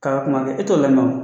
K'a kuma kɛ e to la